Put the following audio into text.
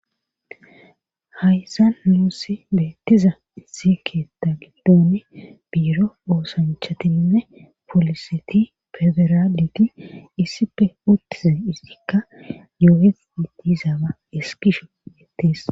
Haysa nuussi beettiza sikeeta giddoni biiro boosanchatinne poliseti federaditi issipe uttize izzikka yooye idiizaba eskisho beettis.